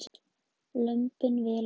Lömbin vel vaxin